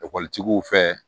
Ekɔlitigiw fɛ